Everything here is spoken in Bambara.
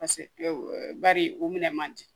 Paseke bari o minɛ man di